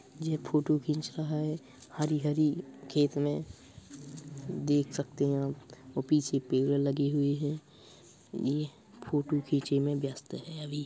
यह फोटो खींच रहा है | हरी हरी खेत में देख सकते हैं आप पीछे पेड़ लगे हुए हैं। यह फोटो खींचे में व्यस्त हैं अभी।